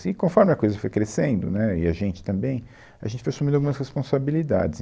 E conforme a coisa foi crescendo, né, e a gente também, a gente foi assumindo algumas responsabilidades.